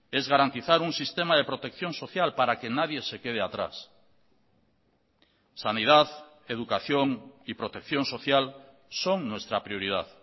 es garantizar un sistema de protección social para que nadie se quede atrás sanidad educación y protección social son nuestra prioridad